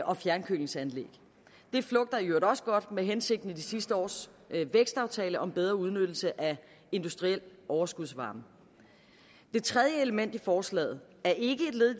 og fjernkølingsanlæg det flugter i øvrigt også godt med hensigten i sidste års vækstaftale om bedre udnyttelse af industriel overskudsvarme det tredje element i forslaget er ikke